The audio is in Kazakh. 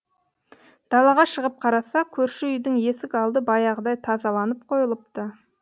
далаға шығып қараса көрші үйдің есік алды баяғыдай тазаланып қойылыпты